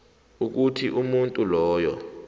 ukuthi umuntu loyo